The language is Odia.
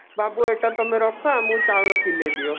ବାବୁ ଏଇଟା ତମେ ରଖ ଆମକୁ ଚାଉଳ କିଲେ ଦିଅ